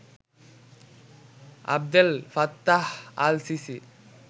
Abdel Fattah al CC